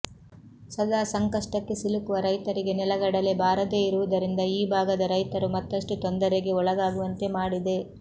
ಸದಾ ಸಂಕಷ್ಟಕ್ಕೆ ಸಿಲುಕುವ ರೈತರಿಗೆ ನೆಲಗಡಲೆ ಬಾರದೆ ಇರುವುದರಿಂದ ಈ ಭಾಗದ ರೈತರು ಮತ್ತಷ್ಟು ತೊಂದರೆಗೆ ಒಳಗಾಗುವಂತೆ ಮಾಡಿದೆ